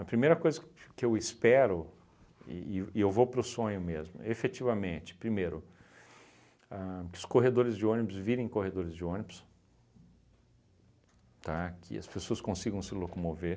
primeira coisa que eu espero, e e v e eu vou para o sonho mesmo, efetivamente, primeiro, ahn que os corredores de ônibus virem corredores de ônibus, tá, que as pessoas consigam se locomover,